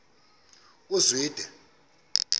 uzwide